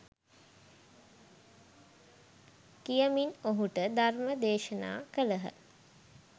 කියමින් ඔහුට ධර්ම දේශනා කළහ.